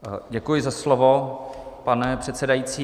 Děkuji za slovo, pane předsedající.